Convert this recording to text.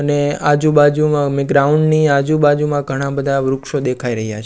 અને આજુ બાજુમાં ગ્રાઉન્ડ ની આજુ બાજુમાં ઘણા બધા વૃક્ષો દેખાય રહ્યા છે.